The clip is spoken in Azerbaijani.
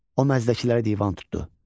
O məzdəkilərə divan tutdu.